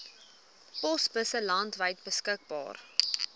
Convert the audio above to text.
posbusse landwyd beskikbaar